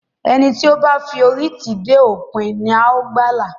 Ẹni tí ó bá f'ori tì dé òpin, ní ào gbàla.